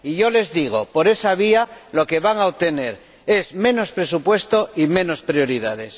y yo les digo por esa vía lo que van a obtener es menos presupuesto y menos prioridades.